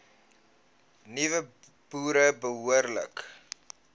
nuwe boere behoorlik